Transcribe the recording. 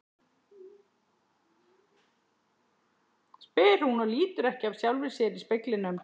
spyr hún og lítur ekki af sjálfri sér í speglinum.